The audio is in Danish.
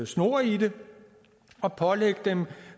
snor i det og pålægge dem